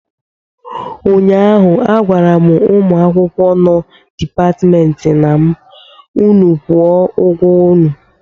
ụnyahụ agwara m ụmụ akwụkwọ nọ Dipatmentị na m, unu kwụọ ụgwọ unu!